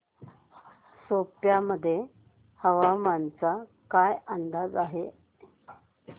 सेप्पा मध्ये हवामानाचा काय अंदाज आहे